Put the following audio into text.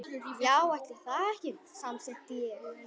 Já, ætli það ekki, samsinnti ég.